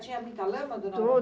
Tinha muita lama, dona Aurora?